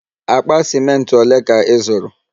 Akpa ciment ole ka ị zụrụ?